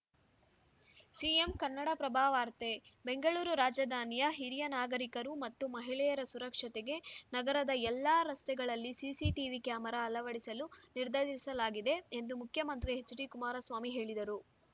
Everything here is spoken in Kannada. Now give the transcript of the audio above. ಸಿಎಂ ಕನ್ನಡಪ್ರಭ ವಾರ್ತೆ ಬೆಂಗಳೂರು ರಾಜಧಾನಿಯ ಹಿರಿಯ ನಾಗಕರಿಕರು ಮತ್ತು ಮಹಿಳೆಯರ ಸುರಕ್ಷತೆಗೆ ನಗರದ ಎಲ್ಲ ರಸ್ತೆಗಳಲ್ಲಿ ಸಿಸಿಟಿವಿ ಕ್ಯಾಮರಾ ಅಳವಡಿಸಲು ನಿರ್ಧರಿಸಲಾಗಿದೆ ಎಂದು ಮುಖ್ಯಮಂತ್ರಿ ಎಚ್‌ಡಿಕುಮಾರಸ್ವಾಮಿ ಹೇಳಿದರು